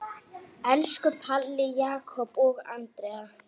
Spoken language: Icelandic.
Elsku Palli, Jakob og Andrea.